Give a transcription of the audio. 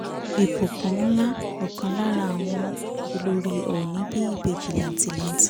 ìbùkún ńlá ọkàn lára àwọn olórí ọ̀ọ́nì bí ìbejì làǹtìlanti